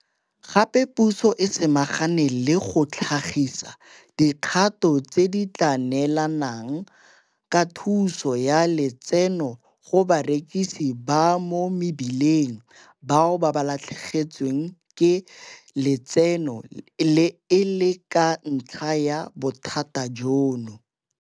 Gape puso e samagane le go tlhagisa dikgato tse di tla neelanang ka thuso ya lotseno go barekisi ba mo mebileng bao ba latlhegetsweng ke lotseno e le ka ntlha ya bothata jono.